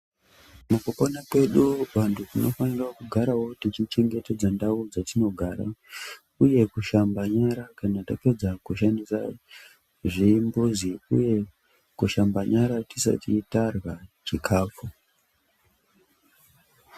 Mukupona kwedu vantu tinofanira kugarawo tichichengetedza ndau dzatinogara uye kushamba nyara kana tapedza kushandisa zvimbuzi uye kushamba nyara tisati tarya chikafu.